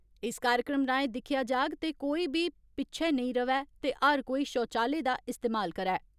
इस कार्यक्रम राएं दिक्खेआ जाग ते कोई बी पिच्छै नेई रवै ते हर कोई शौचालय दा इस्तेमाल करै।